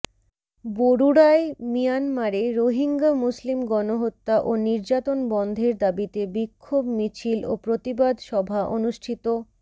বরুড়ায় মিয়ানমারে রোহিঙ্গা মুসলিম গনহত্যা ও নিযার্তন বন্ধের দাবীতে বিক্ষোভ মিছিল ও প্রতিবাদ সভা অনুষ্ঠিত